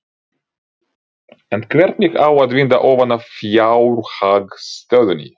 En hvernig á að vinda ofan af fjárhagsstöðunni?